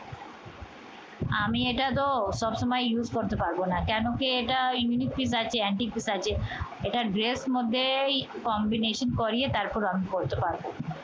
আমি এটা তো সবসময় use করতে পারবো না। কেন কি এটা unique piece আছে antique piece আছে এটা dress মধ্যেই combination করিয়ে তারপর run করতে পারবো